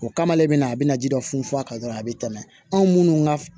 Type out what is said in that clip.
O kama ale bɛna a bɛna ji dɔ funfun a kan dɔrɔn a bɛ tɛmɛ anw minnu ka